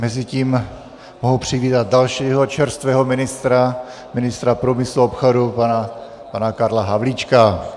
Mezitím mohu přivítat dalšího čerstvého ministra - ministra průmyslu a obchodu pana Karla Havlíčka.